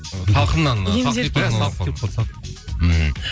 салқыннан иә салқын тиіп қалды